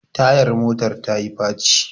tayar motar ta yi faci